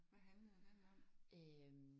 Hvad handlede den om?